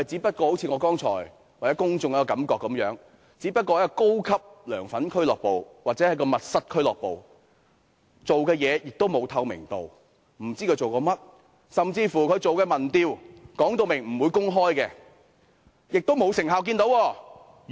正如我剛才所說，我和公眾均感覺到它只不過是一個高級"梁粉俱樂部"或"密室俱樂部"，做事沒有透明度，不知它做些甚麼；甚至它進行的民調，它亦說明不會公開，而我們亦沒有見到其成效。